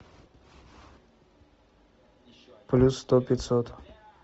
плюс сто пятьсот